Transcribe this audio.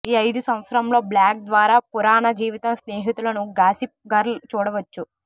ఈ ఐదు సంవత్సరంలో బ్లాగ్ ద్వారా పురాణ జీవితం స్నేహితులను గాసిప్ గర్ల్ చూడవచ్చు